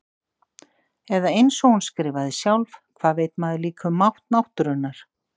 Eða einsog hún skrifaði sjálf: Hvað veit maður líka um mátt náttúrunnar.